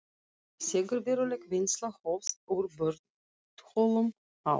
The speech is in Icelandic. Þegar veruleg vinnsla hófst úr borholum á